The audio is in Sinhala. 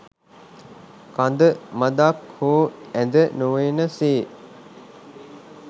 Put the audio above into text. කඳ මඳක් හෝ ඇද නොවන සේ